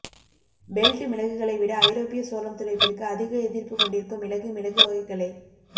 belt மிளகுகளை விட ஐரோப்பிய சோளம் துளைப்பிற்கு அதிக எதிர்ப்பு கொண்டிருக்கும் மிளகு மிளகு வகைகளை